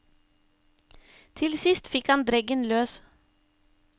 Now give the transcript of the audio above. Til sist fikk han dreggen løs.